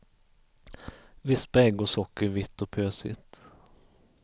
Vispa ägg och socker vitt och pösigt.